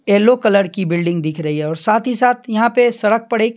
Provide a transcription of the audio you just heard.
yellow colour की building दिख रही है और साथ ही साथ यहाँ पे सड़क पर एक --